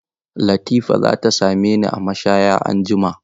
Latifa za ta same ni a mashaya anjima.